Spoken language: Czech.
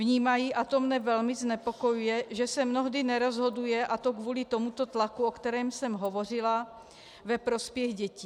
Vnímají, a to mne velmi znepokojuje, že se mnohdy nerozhoduje, a to kvůli tomuto tlaku, o kterém jsem hovořila, ve prospěch dětí.